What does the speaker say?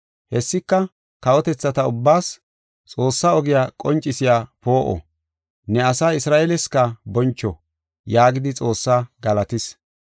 Hessika kawotethata ubbaas, Xoossaa ogiya qoncisiya poo7o, ne asaa Isra7eeleska boncho” yaagidi Xoossaa galatis.